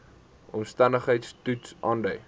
omstandigheids toets aandui